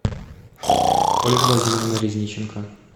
ольга владимировна резниченко